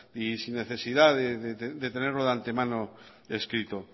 y sin necesidad de tenerlo de antemano escrito